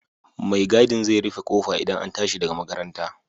Mai gadin zai rufe ƙofa idan an tashi daga makaranta